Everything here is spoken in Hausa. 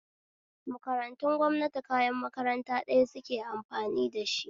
Makarantun gwamnati kayan makarant ɗaya suke amfani dashi